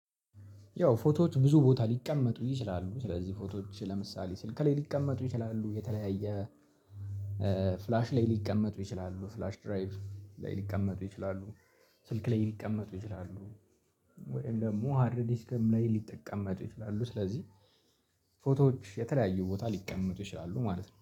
ያው ፎቶዎች ብዙ ቦታ ሊቀመጡ ይችላሉ ስለዚህ ፎቶዎች ለምሳሌ ስልክ ሊቀመጡ ይችላሉ የተለያየ ፍላሽ ላይ ሊቀመጡ ይችላሉ ፍላሽ ድራይቭ ላይ ሊቀመጡ ይችላሉ። ስልክ ላይ ሊቀመጡ ይችላሉ። ወይም ደግሞ ሃርድ ዲስከም ላይ ሊጠቀመጡ ይችላሉ ስለዚህ ፎቶዎች የተለያዩ ቦታ ሊቀመጡ ይችላሉ ማለት ነው